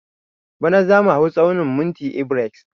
Bana zamu hau tsaunin monti ebares